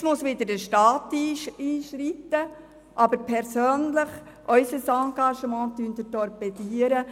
Jetzt muss wieder der Staat einschreiten, aber unser Engagement wird torpediert.